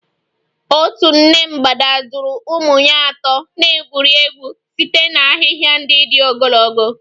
Otu nne mgbada duru ụmụ ya atọ na-egwuri egwu site na ahịhịa ndị dị ogologo.